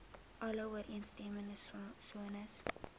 alle ooreenstemmende sones